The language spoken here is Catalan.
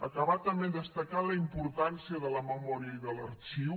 acabar també destacant la importància de la memòria i de l’arxiu